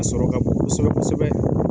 sɔrɔ ka bon kosɛbɛ kosɛbɛ.